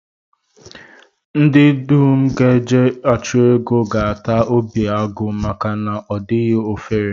Ndị dum ga-eje achụmnta ego ga-ata obi agụ maka na ọ dịghị ofere